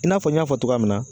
I n'a fɔ n y'a fɔ togoya min na